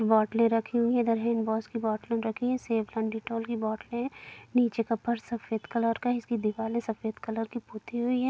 बोटले रखी हुई है इधर हैंडवॉश की बोटल रखी है सेवलॉन डिटॉल की बोटले है नीचे का फर्श सफेद कलर का है इसकी दीवारे सफेद कलर की पुती हुई है।